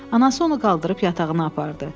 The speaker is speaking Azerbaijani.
Anası onu qaldırıb yatağına apardı.